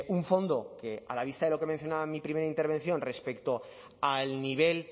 un fondo que a la vista de lo que he mencionado en mi primera intervención respecto al nivel